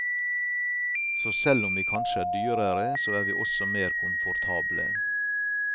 Så selv om vi kanskje er dyrere, så er vi også mer komfortable.